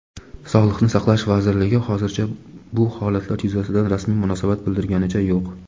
Sog‘liqni saqlash vazirligi hozircha bu holatlar yuzasidan rasmiy munosabat bildirganicha yo‘q.